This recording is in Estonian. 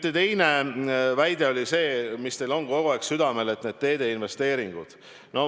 Teie teine väide oli see, mis teil on kogu aeg südamel, need teede investeeringud.